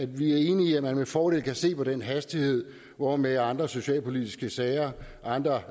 vi er enige i at man med fordel kan se på den hastighed hvormed andre socialpolitiske sager andre